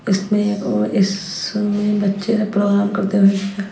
इसमें और इस्स में बच्चे सब प्रोग्राम करते हुए हूं य--